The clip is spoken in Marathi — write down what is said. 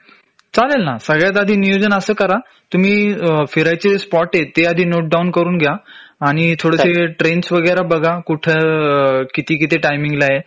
चालेल ना सगळ्यात आधी नियोजन अस करा तुम्ही फिरायचे स्पॉटेत ते आधी नोटडाउन करून घ्या आणि थोडेसे ट्रेन्स वगैरे बघा कुठं किती किती टाईमिंग ला आहे